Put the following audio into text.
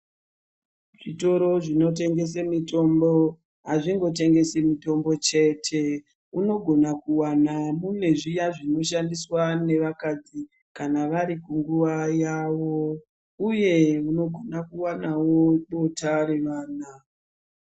Zvitoro zvinotengese mitombo hazvingotengesi mutombo chete unogona kuwana mune zviya zvinoshandiswa nevakadzi kana vari kunguva yavo uye unogona kuwanawo bota revana